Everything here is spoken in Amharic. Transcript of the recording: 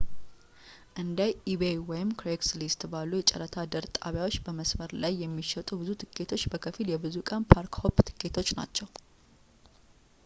እንደ ኢቤይebay ወይም ክሬግስሊስትcraigslist ባሉ የጨረታ ድር ጣቢያዎች በመስመር ላይ የሚሸጡ ብዙ ቲኬቶች በከፊል የብዙ ቀን ፓርክ-ሆፕ ቲኬቶች ናቸው